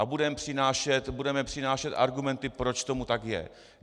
A budeme přinášet argumenty, proč tomu tak je.